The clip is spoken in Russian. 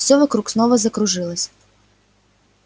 всё вокруг снова закружилось